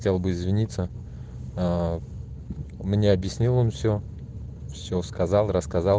хотел бы извиниться у меня объяснил он все все сказал